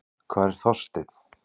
Hvar er Þorsteinn?